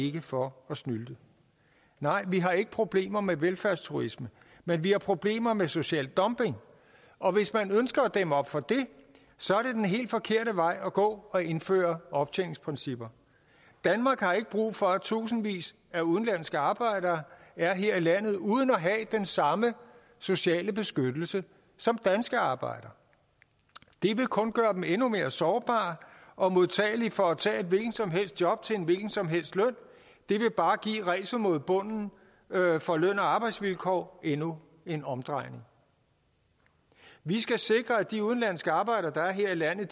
ikke for at snylte nej vi har ikke problemer med velfærdsturisme men vi har problemer med social dumping og hvis man ønsker at dæmme op for det så er det den helt forkerte vej at gå at indføre optjeningsprincipper danmark har ikke brug for at tusindvis af udenlandske arbejdere er her i landet uden at have den samme sociale beskyttelse som danske arbejdere det vil kun gøre dem endnu mere sårbare og modtagelige for at tage et hvilket som helst job til en hvilken som helst løn det vil bare give ræset mod bunden for løn og arbejdsvilkår endnu en omdrejning vi skal sikre at de udenlandske arbejdere der er her i landet